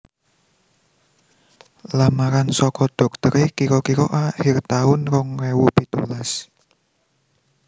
Lamaran soko doktere kiro kiro akhir taun rong ewu pitulas